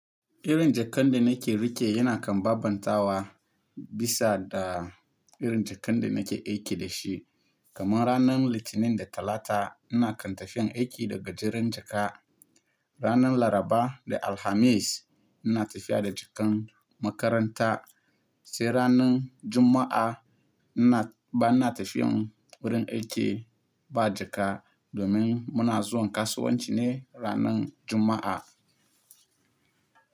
Irin jakan da nake riƙe yana kan babbantawa bisa da irin jakan da nake aiki da shi. Kamar ranar Litinin da Talata ina kan tafiyan aiki daga gajeran jaka. Ranar Laraba da Alhamis ina tafiya da jakan makaranta, sai ranar Juma'a ba na tafiyan wurin aiki ba jaka domin muna zuwan kasuwanci ne ranar Juma'a.